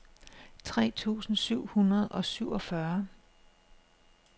tre tusind syv hundrede og syvogfyrre